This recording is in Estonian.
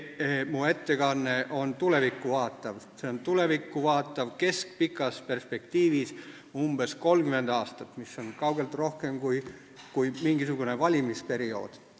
Mu ettekanne vaatab tulevikku – see hõlmab keskpikas perspektiivis umbes 30 aastat, mis on kaugelt rohkem kui mingisugune valimisperiood.